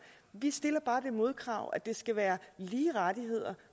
vi stiller bare det modkrav at det skal være lige rettigheder